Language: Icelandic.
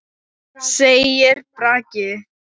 segir Bragi.